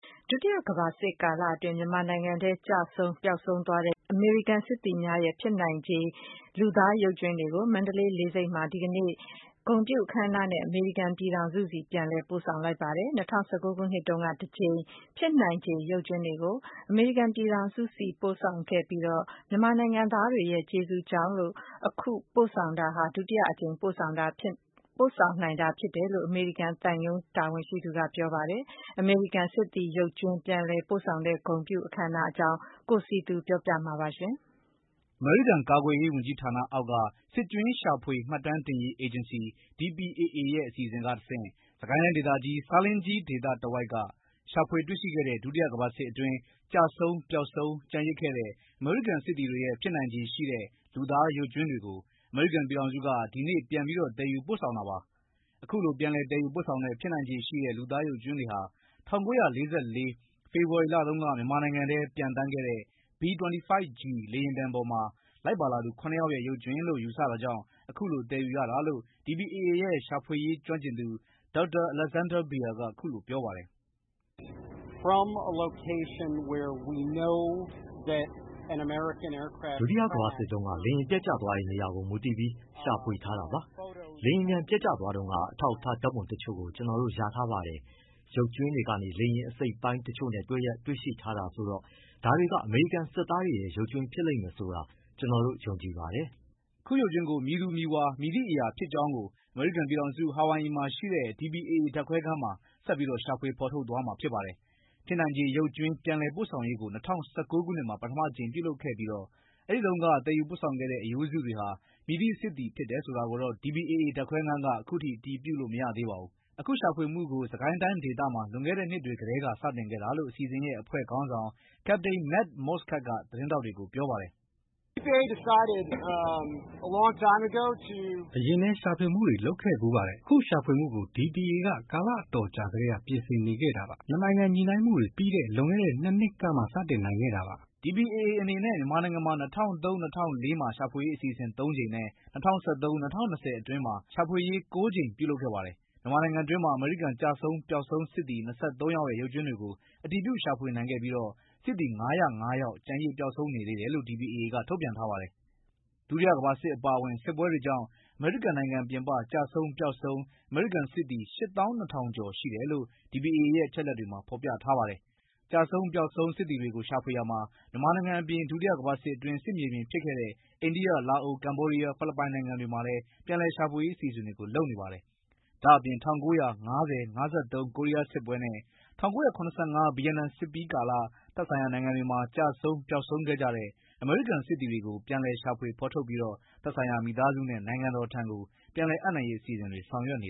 ဒုတိယကမ္ဘာစစ်ကာလအတွင်း မြန်မာနိုင်ငံထဲ ကျဆုံး၊ ပျောက်ဆုံးသွားတဲ့ အမေရိကန်စစ်သည်များရဲ့ ဖြစ်နိုင်ခြေ လူသားရုပ်ကြွင်းတွေကို မန္တလေးလေဆိပ်မှာ ဒီကနေ့ ဂုဏ်ပြုအခမ်းအနားနဲ့ အမေရိကန်ပြည်ထောင်စုဆီ ပြန်လည်ပို့ဆောင်ပါတယ်။ ၂၀၁၉ ခုနှစ်တုန်းက တကြိမ် ဖြစ်နိုင်ခြေ ရုပ်ကြွင်းတွေကို အမေရိကန်ပြည်ထောင်စုဆီ ပို့ဆောင်ခဲ့ပြီးတော့ မြန်မာနိုင်ငံသားတွေရဲ့ ကျေးဇူးကြောင့်လို့ အခုပို့ဆောင်တာက ဒုတိယအကြိမ် ပို့ဆောင်နိုင်တာဖြစ်တယ်လို့ အမေရိကန်သံရုံးတာဝန်ရှိသူက ပြောပါတယ်။ အမေရိကန်စစ်သည်ရုပ်ကြွင်း ပြန်လည်ပို့ဆောင်တဲ့ ဂုဏ်ပြုအခမ်းအနားအကြောင်း ကိုစည်သူပြောပြပေးမှာပါ။ အမေရိကန် ကာကွယ်ရေးဝန်ကြီးဌာနအောက်က စစ်ကြွင်းရှာဖွေမှတ်တမ်းတင်ရေး အေဂျင်စီ (DPAA) ရဲ့ အစီအစဉ်ကတစ်ဆင့် စစ်ကိုင်းတိုင်းဒေသကြီး၊ ဆားလင်းကြီး ဒေသတဝိုက်က ရှာဖွေတွေ့ရှိခဲ့တဲ့ ဒုတိယကမ္ဘာစစ်အတွင်း ကျဆုံး၊ ပျောက်ဆုံး ကျန်ရစ်ခဲ့သည့် အမေရိကန် စစ်သည်များ၏ ဖြစ်နိုင်ခြေရှိသော လူသားရုပ်ကြွင်းများကို အမေရိကန် ပြည်ထောင်စုက ယနေ့ ပြန်လည် သယ်ယူပို့ဆောင်ခဲ့တာပါ။ အခုလို ပြန်လည်သယ်ယူပို့ဆောင်တဲ့ ဖြစ်နိုင်ခြေရှိတဲ့ လူသားရုပ်ကြွင်းတွေဟာ ၁၉၄၄ ဖေဖော်ဝါရီလအတွင်း မြန်မာနိုင်ငံထဲပျံသန်းခဲ့တဲ့ B-25G လေယာဉ်ပေါ်မှာ လိုက်ပါလာသူ ခုနှစ်ယောက်ရဲ့ ရုပ်ကြွင်းလို့ယူဆတာကြောင့် အခုလိုသယ်ယူရတာလို့ DPAA ရဲ့ ရှာဖွေရေးကျွမ်းကျင်သူ Dr.Alexander Baer က အခုလိုပြောပါတယ်။ “ဒုတိယကမ္ဘာစစ်တုန်းက လေယာဉ်ပျက်ကျသွားတဲ့ နေရာကို မူတည်ပြီး ရှာဖွေထားတာပါ။ လေယာဉ်ပျံပျက်ကျသွားတုန်းက အထောက်အထား ဓာတ်ပုံတချို့ကျနော်တို့ ရထားပါတယ်။ ရုပ်ကြွင်းတွေက လေယာဉ်အစိတ်အပိုင်းတစ်ချို့နဲ့ တွဲရက် တွေ့ရှိထားရတာဆိုတော့ ဒါတွေက အမေရိကန်စစ်သားတွေရဲ့ ရုပ်ကြွင်းဖြစ်လိမ့်မယ်ဆိုတာ ကျနော်တို့ ယုံကြည်ပါတယ်။” အခုရုပ်ကြွင်းတွေကို မည်သူမည်ဝါ၊ မည်သည့်အရာဖြစ်ကြောင်းကို အမေရိကန်ပြည်ထောင်စု၊ ဟာဝိုင်အီမှာရှိတဲ့ DPAA ဓာတ်ခွဲခန်းမှာ ဆက်လက်ရှာဖွေဖော်ထုတ်မှာဖြစ်ပါတယ်။ ဖြစ်နိုင်ချေရုပ်ကြွင်း ပြန်လည်ပို့ဆောင်ရေးကို ၂၀၁၉ မှာ ပထမအကြိမ်ပြုလုပ်ခဲ့ပြီးတော့ အဲဒီတုန်းက သယ်ယူပို့ဆောင်ခဲ့တဲ့ အရိုးစုတွေဟာ မည်သည့် စစ်သည်ဖြစ်တယ်ဆိုတာကိုတော့ DPAA ဓာတ်ခွဲခန်းက အတည်မပြုနိုင်သေးပါဘူး။ အခုရှာဖွေမှုကို စစ်ကိုင်းတိုင်းဒေသမှာ လွန်ခဲ့တဲ့ နှစ်တွေကတည်းက စတင်ခဲ့တာလို့ အစီအစဉ်ရဲ့ အဖွဲ့ခေါင်းဆောင် Captain Matt Moschgat က သတင်းထောက်တွေကို ပြောပါတယ်။ အရင်လည်း ရှာဖွေမှုတွေလုပ်ခဲ့ဖူးပါတယ်။ အခုရှာဖွေမှုကို DPA က ကာလအတော်ကြာကတည်းက ပြင်ဆင်နေခဲ့တာပါ။ နှစ်နိုင်ငံညှိနှိုင်းမှုတွေပြီးတဲ့ လွန်ခဲ့တဲ့ ၂ နှစ်ကမှ စတင်နိုင်ခဲ့တာပါ။ DPAA အနေနဲ့ မြန်မာနိုင်ငံမှာ ၂၀၀၃-၀၄ မှာရှာဖွေရေးအစီအစဉ် ၃ ကြိမ်နဲ့ ၂၀၁၃-၂၀၂၀ အတွင်း ရှာဖွေရေး ၉ ကြိမ် ပြုလုပ်ခဲ့ပါတယ်။ မြန်မာနိုင်ငံအတွင်းမှာ အမေရိကန်ကျဆုံး၊ပျောက်ဆုံးစစ်သည် ၂၃ ယောက်ရဲ့ ရုပ်ကြွင်းတွေကို အတည်ပြု ရှာဖွေနိုင်ခဲ့ပြီးတော့ စစ်သည် ၅၀၅ ယောက် ကျန်ရစ် ပျောက်ဆုံးနေသေးတယ်လို့ DPAA က ထုတ်ပြန်ထားပါတယ်။ ဒုတိယကမ္ဘာစစ်အပါအဝင် စစ်ပွဲတွေကြောင့် အမေရိကန်နိုင်ငံပြင်ပ ကျဆုံး၊ ပျောက်ဆုံးအမေရိကန်စစ်သည် ၈၂,၀၀၀ ကျော်ရှိတယ်လို့ (DPAA) ရဲ့အချက်အလက်တွေမှာ ဖော်ပြထားပါတယ်။ ကျဆုံး၊ ပျောက်ဆုံးစစ်သည်တွေကို ရှာဖွေရာမှာ မြန်မာနိုင်ငံအပြင် ဒုတိယကမ္ဘာစစ်အတွင်း စစ်မြေပြင်ဖြစ်ခဲ့တဲ့ အိန္ဒိယ၊ လာအို၊ ကမ္ဗောဒီးယား၊ ဖိလစ်ပိုင်နိုင်ငံတွေမှာလည်း ပြန်လည်ရှာဖွေရေးအစီအစဉ်တွေ လုပ်နေပါတယ်။ ဒါ့အပြင် ၁၉၅၀-၅၃ ကိုရီးယားစစ်ပွဲနဲ့ ၁၉၇၅ ဗီယက်နမ်စစ်ပြီးကာလ သက်ဆိုင်ရာနိုင်ငံတွေမှာ ကျဆုံး၊ ပျောက်ဆုံးခဲ့ကြတဲ့ အမေရိကန်စစ်သည်တွေကို ပြန်လည်ရှာဖွေဖော်ထုတ်ပြီးတော့ သက်ဆိုင်ရာမိသားစုနဲ့ နိုင်ငံတော်ထံ ပြန်လည်အပ်နှံရေးအစီအစဉ်တွေလည်း ဆောင်ရွက်နေ